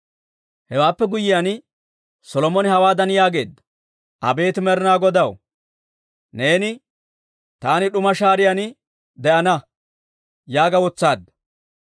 Hewaappe guyyiyaan Solomone hawaadan yaageedda; «Abeet Med'inaa Godaw, neeni, ‹Taani d'uma shaariyaan de'ana› yaaga wotsaadda.